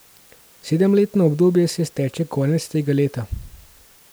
Sedemletno obdobje se izteče konec tega leta.